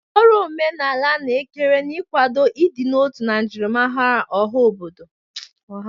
Kedu ọrụ omenala na-ekere n'ịkwado ịdị n'otu na njirimara ọha mmadụ?